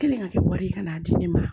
Kɛlen ka kɛ wari ye ka n'a di ne ma